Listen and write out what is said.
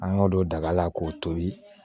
An ka don daga la k'o tobi